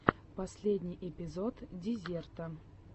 последний эпизод дезерта